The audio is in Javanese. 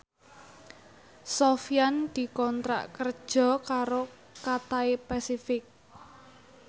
Sofyan dikontrak kerja karo Cathay Pacific